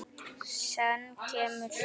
Senn kemur sumar.